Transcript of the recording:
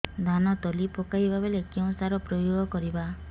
ଧାନ ତଳି ପକାଇବା ବେଳେ କେଉଁ ସାର ପ୍ରୟୋଗ କରିବା